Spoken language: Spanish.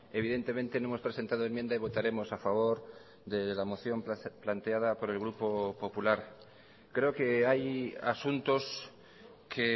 evidentemente no hemos presentado enmienda y votaremos a favor de la moción planteada por el grupo popular creo que hay asuntos que